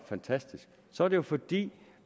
fantastisk så er det jo fordi